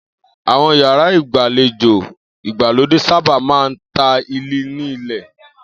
Àwo̩n yàrá ìgbàlejò ìgbàlódé sábà máa ń táìlì ní ilè̩